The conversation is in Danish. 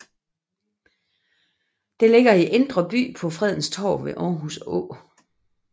Det ligger i Indre By på Fredens Torv ved Aarhus Å